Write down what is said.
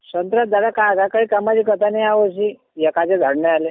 संत्र्याचे झाड ह्या वर्षी एकाद बी झाड नाही आले.